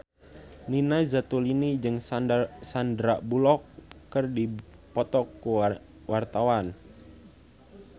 Nina Zatulini jeung Sandar Bullock keur dipoto ku wartawan